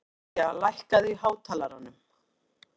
Gloría, lækkaðu í hátalaranum.